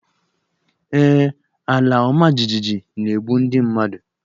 Ee, alaọmajijiji na-egbu ndị mmadụ.